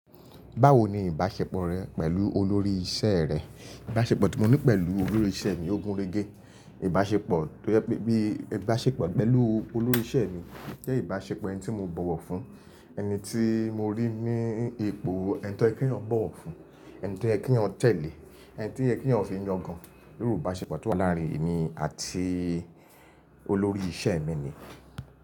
Báwo ni ìbáṣepọ̀ rẹ pẹ̀lú olórí iṣẹ́ rẹ? Ìbáṣepọ̀ tí mo ní pẹ̀lú olórí iṣẹ́ mi ógún régé. Ìbáṣepọ̀ tó yẹ pé bí i ìbáṣepọ̀ pẹ̀lú olórí iṣẹ́ mi jẹ́ ìbáṣepọ̀ ẹni tí mo bọ̀wọ̀ fún, ẹni tí mo rí ní ipò ẹni tí ẹ̀ kí wọn bọ̀wọ̀ fún, ẹni tí ẹ kí wọn tẹ̀lé, ẹni tí ẹ kí wọn fi yangàn. Irú ìbáṣepọ̀ tó wà láàrin èmi àti olórí iṣẹ́ mi ni.